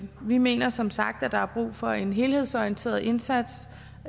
vi mener som sagt at der er brug for en helhedsorienteret indsats